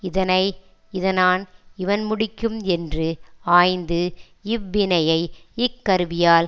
இதனை இதனான் இவன் முடிக்கும் என்று ஆய்ந்து இவ்வினையை இக்கருவியால்